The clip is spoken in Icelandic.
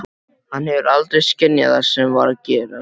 Hann hefur aldrei skynjað það sem var að gerast.